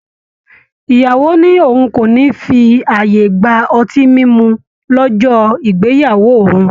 ìyàwó ní òun kò ní fi ààyè gba ọtí mímu lọ́jọ́ ìgbéyàwó òun